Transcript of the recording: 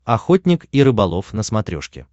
охотник и рыболов на смотрешке